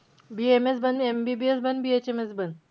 BAMS बन, MBBS बन, BHMS बन.